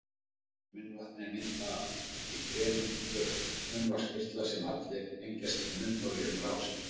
Munnvatn er myndað í þremur pörum munnvatnskirtla sem allir tengjast munnholi um rásir.